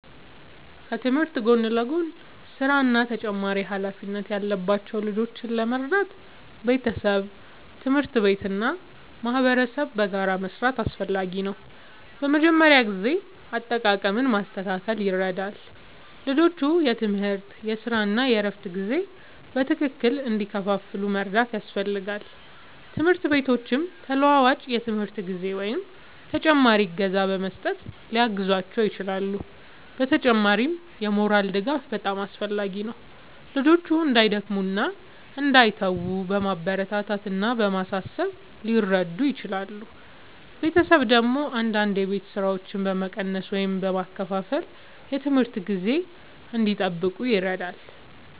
ከትምህርት ጎን ለጎን ሥራ እና ተጨማሪ ኃላፊነት ያለባቸው ልጆችን ለመርዳት ቤተሰብ፣ ትምህርት ቤት እና ማህበረሰብ በጋራ መስራት አስፈላጊ ነው። በመጀመሪያ የጊዜ አጠቃቀም ማስተካከል ይረዳል፤ ልጆቹ የትምህርት፣ የሥራ እና የእረፍት ጊዜ በትክክል እንዲከፋፈል መርዳት ያስፈልጋል። ትምህርት ቤቶችም ተለዋዋጭ የትምህርት ጊዜ ወይም ተጨማሪ እገዛ በመስጠት ሊያግዟቸው ይችላሉ። በተጨማሪም የሞራል ድጋፍ በጣም አስፈላጊ ነው፤ ልጆቹ እንዳይደክሙ እና እንዳይተዉ በማበረታታት እና በማሳሰብ ሊረዱ ይችላሉ። ቤተሰብ ደግሞ አንዳንድ የቤት ሥራዎችን በመቀነስ ወይም በመከፋፈል የትምህርት ጊዜ እንዲጠብቁ ይረዳል።